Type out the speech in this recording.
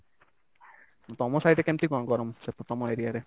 ତମ side ରେ କେମିତି କଣ ଗରମ ସେଠି ତମ area ରେ?